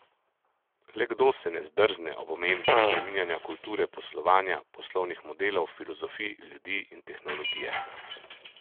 Le kdo se ne zdrzne ob omembi spreminjanja kulture poslovanja, poslovnih modelov, filozofij, ljudi in tehnologije?